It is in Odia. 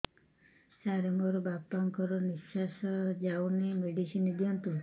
ସାର ମୋର ବାପା ଙ୍କର ନିଃଶ୍ବାସ ଯାଉନି ମେଡିସିନ ଦିଅନ୍ତୁ